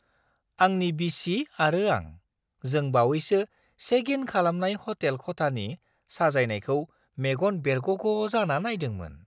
आंनि बिसि आरो आं जों बावैसो चेक इन खालामनाय हटेल खथानि साजायनायखौ मेगन बेरगग' जाना नायदोंमोन।